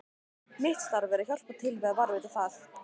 Mitt starf er að hjálpa til við að varðveita það.